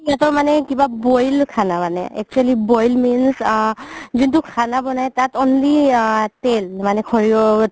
সিহতৰ মানে boil খানা মানে actually boil means আ যোনতো খানা বনাই তাত only আ তেল মানে সৰিহৰ